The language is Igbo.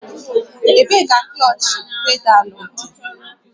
Ebee ka klọọchị pedaalụ dị?